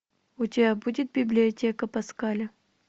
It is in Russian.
у тебя будет библиотека паскаля